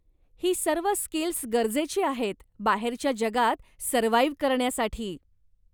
ही सर्व स्किल्स गरजेची आहेत बाहेरच्या जगात सर्व्हाइव्ह करण्यासाठी.